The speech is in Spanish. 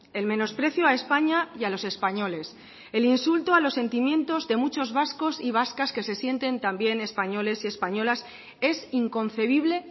el menosprecio a españa y a los españoles el insulto a los sentimientos de muchos vascos y vascas que se sienten también españoles y españolas es inconcebible